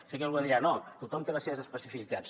sé que algú ara dirà no tothom té les seves especificitats